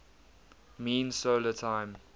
mean solar time